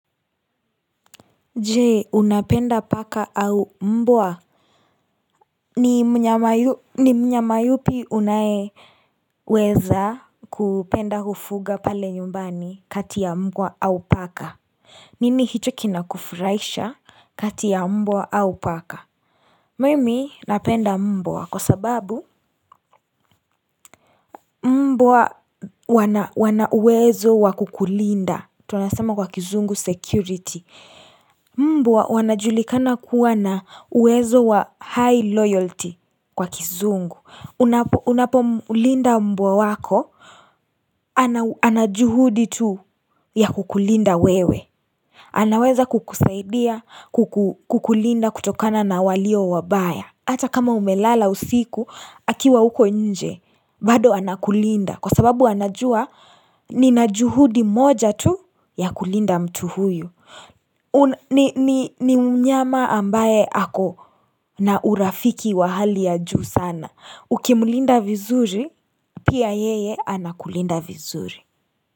Je, unapenda paka au mbwa? Ni myama yupi unayeweza kupenda kufuga pale nyumbani kati ya mbwa au paka nini hicho kinakufuraisha kati ya mbwa au paka Mimi napenda mbwa kwa sababu Mbwa wana uwezo wa kukulinda, tunasema kwa kizungu security Mbwa wanajulikana kuwa na uwezo wa high loyalty kwa kizungu Unapomlinda mbwa wako ana juhudi tu ya kukulinda wewe anaweza kukusaidia kukulinda kutokana na walio wabaya hata kama umelala usiku akiwa huko nje bado anakulinda kwa sababu anajua nina juhudi moja tu ya kulinda mtu huyu ni mnyama ambaye ako na urafiki wa hali ya juu sana. Ukimlinda vizuri pia yeye anakulinda vizuri.